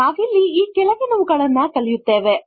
ನಾವಿಲ್ಲಿ ಈ ಕೆಳಗಿನವುಗಳನ್ನು ಕಲಿಯುತ್ತೇವೆ